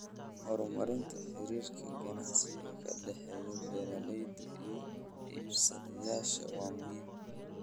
Horumarinta xiriirka ganacsi ee ka dhexeeya beeralayda iyo iibsadayaasha waa muhiim.